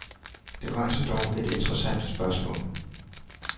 Det rejser dog et interessant spørgsmål.